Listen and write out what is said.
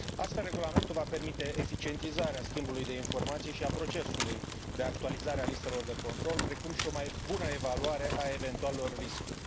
Astfel, regulamentul va permite eficientizarea schimbului de informații și a procesului de actualizare a listelor de control, precum și o mai bună evaluare a eventualelor riscuri.